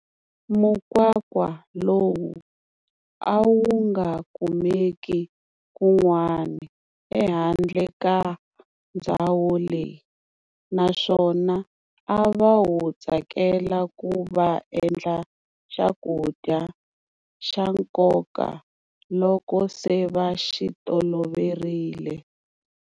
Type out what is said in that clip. Mukwakwa lowu a wu nga kumeki kun'wani ehandle ka ndzhawo leyi, na swona a va wu tsakela kuva va endla xa ku dya xa nkoka loko se va xi toloverile.